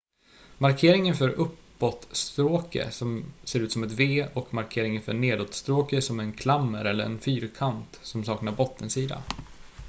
"markeringen för "uppåt-stråke" ser ut som ett v och markeringen för "nedåt-stråke" som en klammer eller en fyrkant som saknar bottensida.